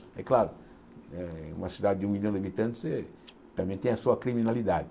É claro, é uma cidade de um milhão de habitantes eh também tem a sua criminalidade.